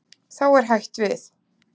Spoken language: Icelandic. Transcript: Þá er hætt við.